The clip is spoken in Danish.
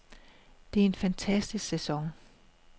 Det er en fantastisk sæson.